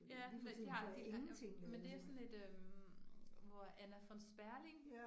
Ja, men de har, de, men det sådan et øh hvor Anna von Sperling